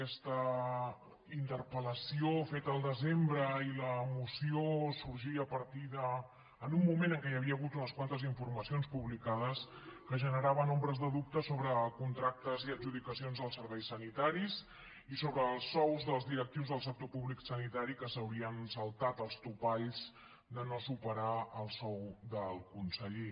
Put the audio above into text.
aquesta interpelsembre i la moció sorgien en un moment en què hi havia hagut unes quantes informacions publicades que generaven ombres de dubte sobre contractes i adjudicacions als serveis sanitaris i sobre els sous dels directius del sector públic sanitari que s’haurien saltat els topalls de no superar el sou del conseller